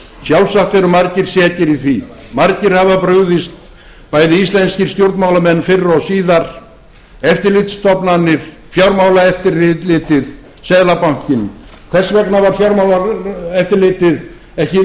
sjálfsagt eru margir sekir í því margir hafa brugðist bæði íslenskir stjórnmálamenn fyrr og síðar eftirlitsstofnanir fjármálaeftirlitið seðlabankinn hvers vegna var fjármálaeftirlitið ekki oft